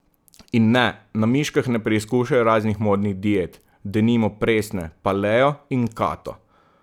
In ne, na miškah ne preizkušajo raznih modnih diet, denimo presne, paleo in kato.